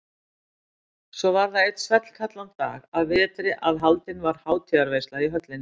Svo var það einn svellkaldan dag að vetri að haldin var hátíðarveisla í höllinni.